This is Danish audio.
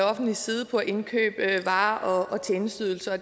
offentliges side på at indkøbe varer og tjenesteydelser og